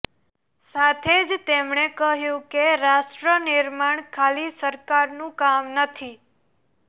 સાથે જ તેમણે કહ્યું કે રાષ્ટ્ર નિર્માણ ખાલી સરકારનું કામ નથી